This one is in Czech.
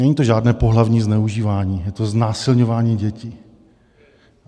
Není to žádné pohlavní zneužívání, je to znásilňování dětí.